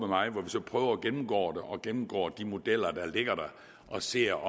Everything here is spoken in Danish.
mig hvor vi så prøver at gennemgå det og gennemgå de modeller der ligger og ser